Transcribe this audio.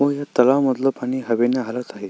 व ह्या तलाव मधलं पाणी हवेने हलत आहे.